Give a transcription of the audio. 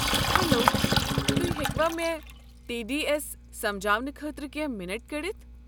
Hello, تہۍ ہیٚکوٕ مےٚ ٹی ڈی اٮ۪س سمجاونہٕ خٲطرٕ کٮ۪نٛہہ مِنٹ کٔڑِتھ؟